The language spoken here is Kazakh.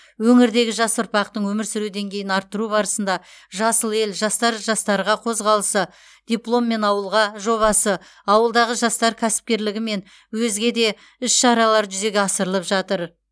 өңірдегі жас ұрпақтың өмір сүру деңгейін арттыру барысында жасыл ел жастар жастарға қозғалысы дипломмен ауылға жобасы ауылдағы жастар кәсіпкерлігі және өзге де іс шара жүзеге асырылып жатыр